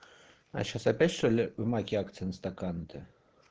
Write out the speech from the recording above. а сейчас опять что-ли в маке акции на стаканы то